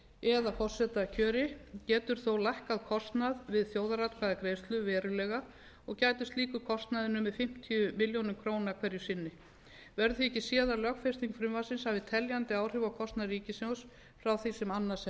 eða forsetakjöri getur þó lækkað kostnað við þjóðaratkvæðagreiðslu verulega og gæti slíkur kostnaður numið fimmtíu milljónum króna hverju sinni verður því ekki séð að lögfesting frumvarpsins hafi teljandi áhrif á kostnað ríkissjóðs frá því sem annars